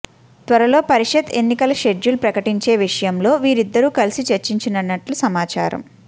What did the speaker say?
త్వరలో పరిషత్ ఎన్నికల షెడ్యూల్ ప్రకటించే విషయంలో వీరిద్దరూ కలిసి చర్చించినట్లు సమాచారం